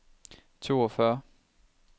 toogfyrre